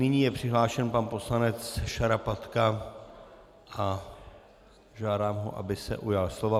Nyní je přihlášen pan poslanec Šarapatka a žádám ho, aby se ujal slova.